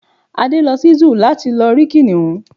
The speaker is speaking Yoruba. Adé lo sí Zúù láti lọ rí kìnìún